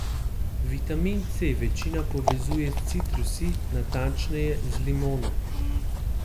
Vitamin C večina povezuje s citrusi, natančneje z limono.